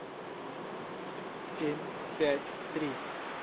семь пять три